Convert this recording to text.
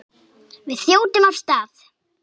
Við þjótum af stað.